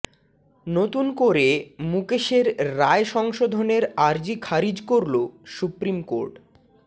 নতুন করে মুকেশের রায় সংশোধনের আর্জি খারিজ করল সুপ্রিম কোর্ট